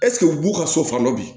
Ɛseke u b'u ka so fan dɔ bi